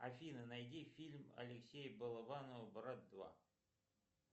афина найди фильм алексея балабанова брат два